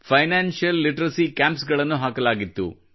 financial literacy camps ಗಳನ್ನು ಹಾಕಲಾಗಿತ್ತು